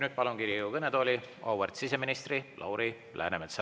Nüüd palun Riigikogu kõnetooli auväärt siseministri Lauri Läänemetsa.